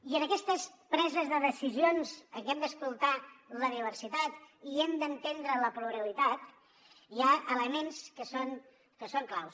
i en aquestes preses de decisions en què hem d’escoltar la diversitat i hem d’entendre la pluralitat hi ha elements que són claus